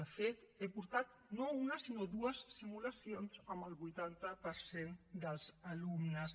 de fet he portat no una sinó dues simulacions amb el vuitanta per cent dels alumnes